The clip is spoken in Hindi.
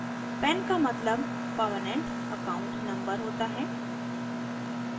pan का मतलब permanent account number होता है